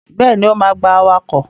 Bẹ́ẹ̀ni, ó ma gba awakọ̀.